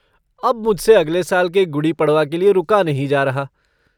अब मुझसे अगले साल के गुडी पड़वा के लिये रुका नहीं जा रहा।